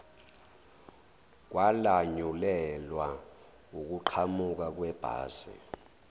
kwalanyulelwa ukuqhamuka kwebhasi